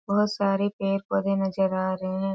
बहुत सारे पेड़ पौधे नजर आ रहें हैं।